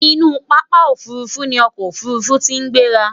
inú pápá òfurufú ní ọkọ ofurufu tí gbera